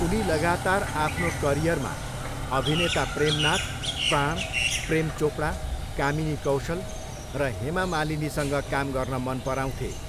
उनी लगातार आफ्नो करिअरमा अभिनेता प्रेमनाथ, प्राण, प्रेम चोपडा, कामिनी कौशल र हेमा मालिनीसँग काम गर्न मन पराउँथे।